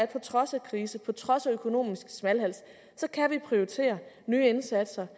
på trods af krise på trods af økonomisk smalhals kan prioritere nye indsatser